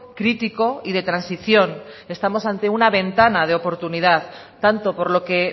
crítico y de transición estamos ante una ventana de oportunidad tanto por lo que